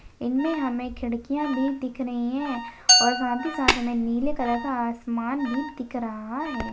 इनमे हमे खिड़कियां भी दिख रही है और साथ ही साथ हमे नीले कलर का आसमान भी दिख रहा है।